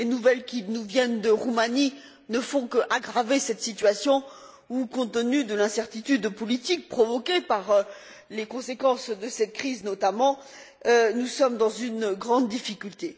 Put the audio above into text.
Les nouvelles qui nous viennent de Roumanie ne font qu'aggraver cette situation où, compte tenu de l'incertitude politique provoquée par les conséquences de cette crise notamment, nous sommes dans une grande difficulté.